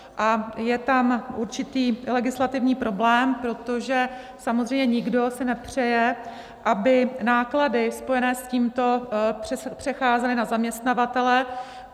A je tam určitý legislativní problém, protože samozřejmě si nikdo nepřeje, aby náklady spojené s tímto přecházely na zaměstnavatele.